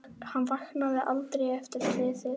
Hann vaknaði aldrei eftir slysið.